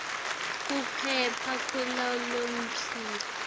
kepha kukhona lokusilele